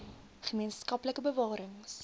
gemeen skaplike bewarings